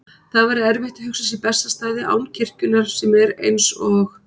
Það væri erfitt að hugsa sér Bessastaði án kirkjunnar sem er, eins og